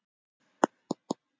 Ég er ekki þar.